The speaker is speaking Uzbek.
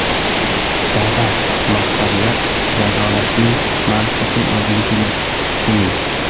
Jazo maqsadida jazolashda mantiq yo‘qligini tushuning.